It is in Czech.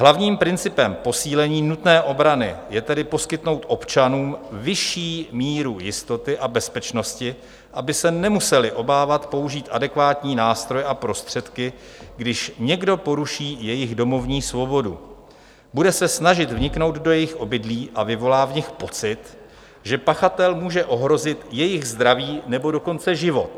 Hlavním principem posílení nutné obrany je tedy poskytnout občanům vyšší míru jistoty a bezpečnosti, aby se nemuseli obávat použít adekvátní nástroj a prostředky, když někdo poruší jejich domovní svobodu, bude se snažit vniknout do jejich obydlí a vyvolá v nich pocit, že pachatel může ohrozit jejich zdraví, nebo dokonce život.